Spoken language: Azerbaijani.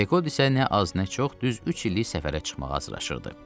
Pekod isə nə az, nə çox, düz üç illik səfərə çıxmağa hazırlaşırdı.